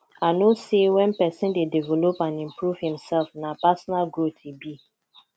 i know say when pesin dey develop and improve imself na personal growth e be